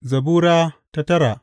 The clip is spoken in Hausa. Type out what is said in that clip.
Zabura Sura tara